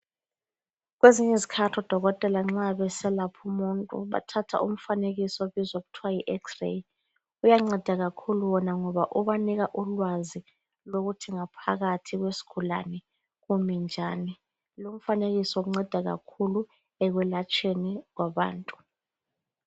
Kwezinye izikhathi odokotela nxa beselapha umuntu bathatha umfanekiso obizwa kuthiwa yi (Ex-ray)uyanceda kakhulu wona ngoba ubanika ulwazi lokuthi ngaphakathi kwesigulane kumi njani. Lomfanekiso unceda kakhulu ekwelatshweni kwabantu.